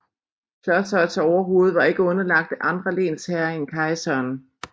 Klosterets overhoved var ikke underlagt andre lensherrer end kejseren